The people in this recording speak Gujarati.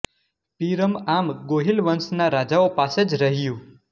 પીરમ આમ ગોહિલ વંશના રાજાઓ પાસે જ રહ્યું